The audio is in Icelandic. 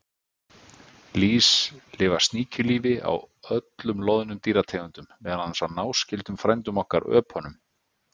Lýs lifa sníkjulífi á öllum loðnum dýrategundum, meðal annars á náskyldum frændum okkar, öpunum.